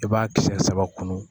I b'a kisɛ saba kunun